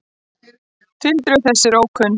Tildrög þess eru ókunn.